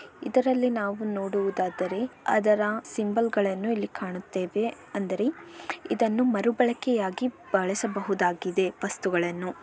ಇದರಲ್ಲಿ ನಾವು ನೋಡುವುದಾದರೆ ಅದರ ಸಿಂಬಲಗಳನ್ನು ಕಾಣುತ್ತೇವೆ ಅಂದರೆ ಹಾಗೂ ಇದನ್ನು ಮರುಬಳಕೆಯಾಗಿ ಬಳಸಬಹುದಾಗಿದೆ ವಸ್ತುಗಳನ್ನು.